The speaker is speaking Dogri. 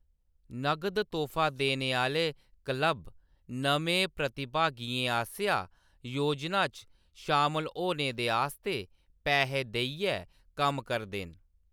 नगद तोह्‌‌फा देने आह्‌‌‌ले क्लब नमें प्रतिभागियें आसेआ योजना च शामल होने दे आस्तै पैहे देइयै कम्म करदे न।